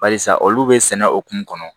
Barisa olu bɛ sɛnɛ hokumu kɔnɔ